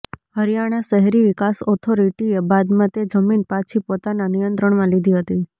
હરિયાણા શહેરી વિકાસ ઓથોરિટીએ બાદમાં તે જમીન પાછી પોતાના નિયંત્રણમાં લીધી હતી